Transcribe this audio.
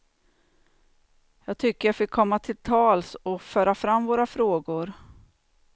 Jag tycker jag fick komma till tals och föra fram våra frågor.